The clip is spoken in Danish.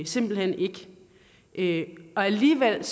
simpelt hen ikke og alligevel